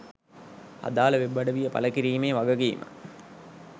අදාළ වෙබ් අඩවිය පළ කිරීමේ වගකීම